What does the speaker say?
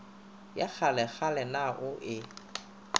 ya kgalekgale na o e